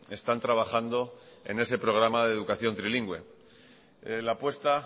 están trabajando en ese programa de educación trilingüe la apuesta